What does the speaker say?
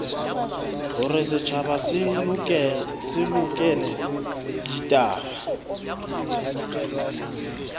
hore setjhaba se lekole ditaba